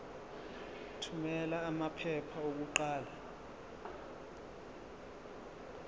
thumela amaphepha okuqala